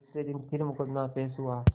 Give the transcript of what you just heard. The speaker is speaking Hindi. दूसरे दिन फिर मुकदमा पेश हुआ